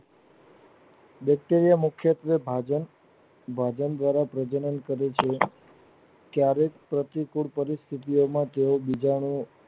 Bacteria મુખ્ય ત્વે ભાજન ભાગ દ્વારા પ્રજનન કરે છે ક્યારેક પ્રતિકૂળ પરિસ્થી ઓ માં તે બીજા ને